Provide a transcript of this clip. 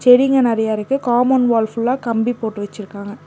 செடிங்க நெறைய இருக்கு காம்பவுண்ட் வால் ஃபுல்லா கம்பி போட்டு வெச்சுருக்காங்க.